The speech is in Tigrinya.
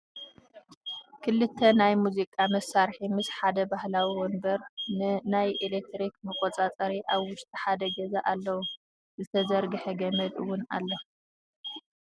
ክልተ ናይ ሙዚቃ መሳርሒ ምስ ሓደ ባህላዊ ወንበር ን ናይ ኤለክትሪክ መቆፃፀሪ ኣብ ዉሽጢ ሓደ ገዛ ኣለዉ ። ዝተዘርገሐ ገመድ እውን ኣሎ